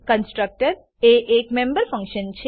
constructor constructor એ એક member function છે